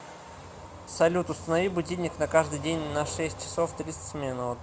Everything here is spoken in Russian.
салют установи будильник на каждый день на шесть часов тридцать минут